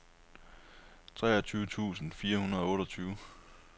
treogtyve tusind fire hundrede og otteogtyve